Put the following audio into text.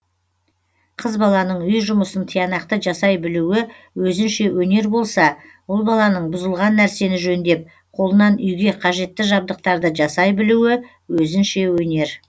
қыз баланың үй жұмысын тиянақты жасай білуі өзінше өнер болса ұл баланың бұзылған нәрсені жөндеп қолынан үйге қажетті жабдықтарды жасай білуі өзінше өнер